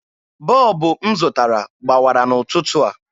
Bọlbụ m zụtara gbawara n'ụtụtụ a.